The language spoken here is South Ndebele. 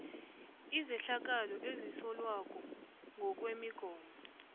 izehlakalo ezisolwako ngokwemigomo